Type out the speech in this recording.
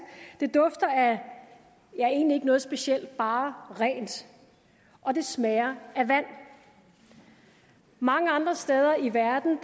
det dufter af ja egentlig ikke af noget specielt bare rent og det smager af vand mange andre steder i verden